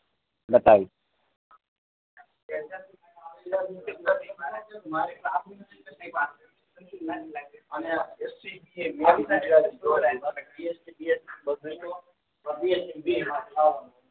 બતાવ્યું